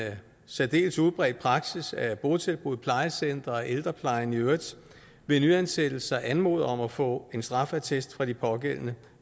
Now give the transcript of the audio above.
særdeles udbredt praksis at botilbud plejecentre og ældreplejen i øvrigt ved nyansættelser anmoder om at få en straffeattest fra de pågældende